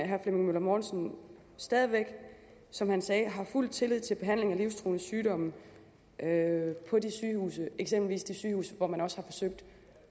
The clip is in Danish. herre flemming møller mortensen stadig væk som han sagde har fuld tillid til behandling af livstruende sygdomme på de sygehuse eksempelvis de sygehuse hvor man også har forsøgt